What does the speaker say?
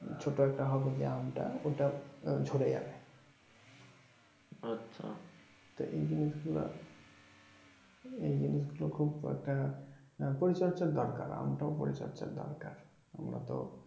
ছোট একটা হবে যে আমটা তাহলে সেটাও ঝড়ে যাবে তো এই জিনিস গুলো এই জিনিস গুলো খুব একটা পরিচর্যা দরকার আমটা ও পরিচর্যার দরকার আমরা তো